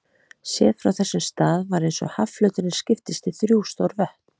Séð frá þessum stað var eins og hafflöturinn skiptist í þrjú stór vötn.